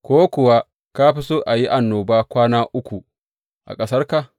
Ko kuwa ka fi so a yi annoba kwana uku a ƙasarka?